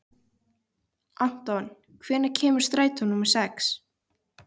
Anton, hvenær kemur strætó númer sex?